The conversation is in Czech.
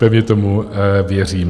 Pevně tomu věřím.